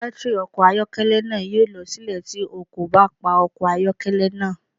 Batiri ọkọ ayọkẹlẹ naa yoo lọ silẹ ti o ko ba pa ọkọ ayọkẹlẹ naa